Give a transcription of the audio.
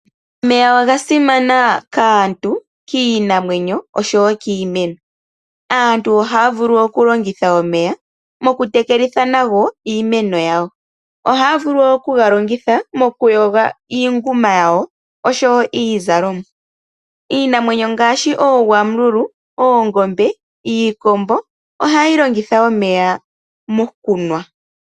Omeya oga simana kaantu, kiinamwenyo osho wo kiimeno. Aantu ohaya vulu okulongitha omeya mokutekelitha nago iimeno yawo. Ohaya vulu oku galongitha mokuyoga iinguma yawo osho wo iizalomwa. Iinamwenyo ngaashi ooGwamululu, oongombe, iikombo ohayi longitha omeya mokunwa.